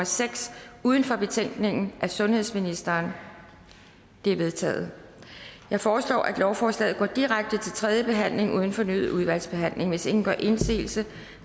seks uden for betænkningen af sundhedsministeren de er vedtaget jeg foreslår at lovforslaget går direkte til tredje behandling uden fornyet udvalgsbehandling hvis ingen gør indsigelse